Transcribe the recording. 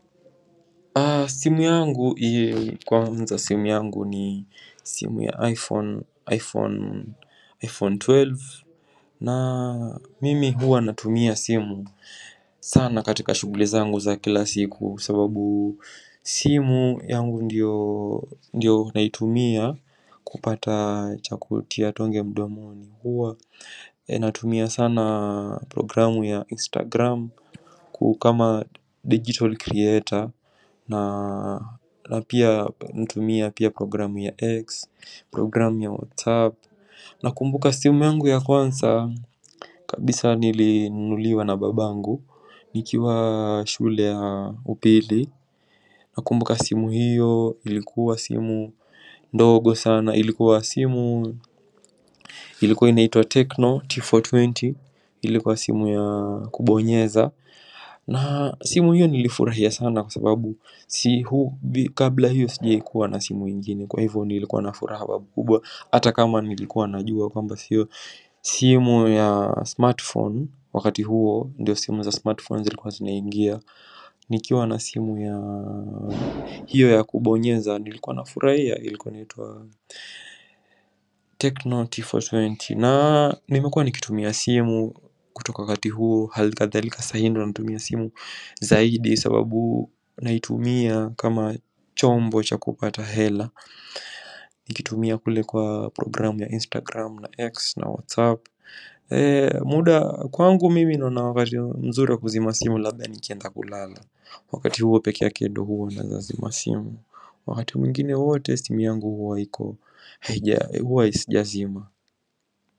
Simu yangu ii kwanza simu yangu ni simu ya iPhone, iPhone, iPhone 12. Na mimi huwa natumia simu sana katika shuguli zangu za kila siku sababu simu yangu ndio ndiyo naitumia kupata chakutia tonge mdomoni, huwa e natumia sana programu ya instagram, ku kama digital creator na napia natumia pia programu ya x programu ya whatsapp, nakumbuka simu yangu ya kwanza kabisa nili nunuliwa na babangu nikiwa shule ya upili, nakumbuka simu hiyo ilikuwa simu ndogo sana ilikuwa simu Ilikuwa inaitwa Tecno T420 Ilikuwa simu ya kubonyeza na simu hiyo nilifurahia sana kwa sababu sihubi kabla hiyo sijawaikuwa na simu ingine kwa hivo nilikuwa na furaha babukubwa, ata kama nilikuwanajuwa kwamba siyo simu ya smartphone wakati huo ndiyo simu za smartphone zilikuwa zinaingia nikiwa na simu ya hiyo ya kubonyeza nilikuwa nafurahia ilikuwa inaitwa Tecno T420. Na nimekuwa nikitumia simu kutoka wakati huo halikadhalika sahii ndio na natumia simu zaidi sababu naitumia kama chombo cha kupata hela. Nikitumia kule kwa programu ya Instagram na X na WhatsApp. Ee muda kwangu mimi naona wakati mzuri kuzima simu laba nikienda kulala. Wakati huo peke yake ndo huo naeza zima simu. Wakati mwingine wote simu yangu huwa iko. Haija e huwa isi jazima.